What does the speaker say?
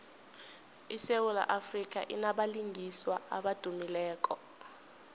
isewula afrika inabalingiswa abadumileko